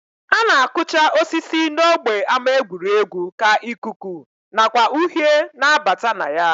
A na-akụcha osisi n'ógbè ama egwuregwu ka ikuku nakwa uhie na-abata na ya